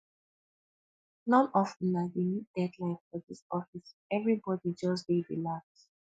none of una dey meet deadline for dis office everybody just dey relax